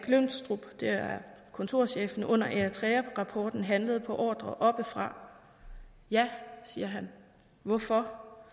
glynstrup det er kontorchefen under eritrearapporten handlede på ordre oppefra ja siger han hvorfor